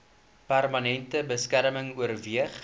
permanente beskerming oorweeg